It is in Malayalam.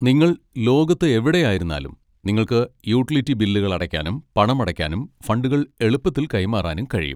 നിങ്ങൾ ലോകത്ത് എവിടെയായിരുന്നാലും നിങ്ങൾക്ക് യൂട്ടിലിറ്റി ബില്ലുകൾ അടയ്ക്കാനും പണമടയ്ക്കാനും ഫണ്ടുകൾ എളുപ്പത്തിൽ കൈമാറാനും കഴിയും.